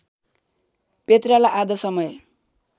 पेत्रालाई आधा समय